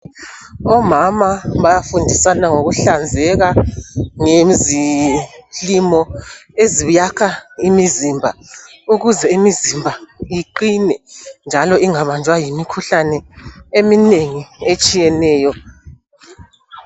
Omama bayafundisana ngokuhlanzeka ngezilimo eziyakha imzimba ukuze imizimba iqine njalo ingabanjwa yimikhuhlane eminengi etshiyeneyo.